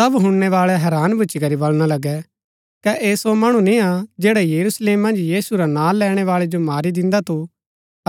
सब हुणनैबाळै हैरान भूच्ची करी बलणा लगै कै ऐह सो मणु निय्आ जैडा यरूशलेम मन्ज यीशु रा नां लैणैबाळै जो मारी दिन्दा थु